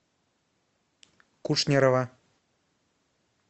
кушнерова